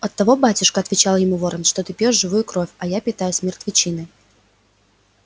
оттого батюшка отвечал ему ворон что ты пьёшь живую кровь а я питаюсь мертвечиной